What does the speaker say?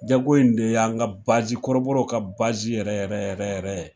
Jago in de y'an ka kɔrɔbɔrɔw ka yɛrɛ yɛrɛ yɛrɛ yɛrɛ ye.